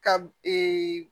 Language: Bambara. Ka